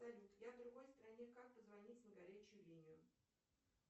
салют я в другой стране как позвонить на горячую линию